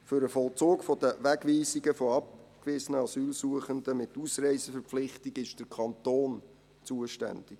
Für den Vollzug der Wegweisungen von abgewiesenen Asylsuchenden mit Ausreiseverpflichtung ist der Kanton zuständig.